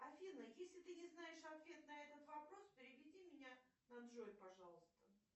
афина если ты не знаешь ответ на этот вопрос переведи меня на джой пожалуйста